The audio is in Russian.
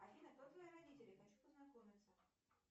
афина кто твои родители хочу познакомиться